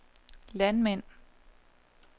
landmænd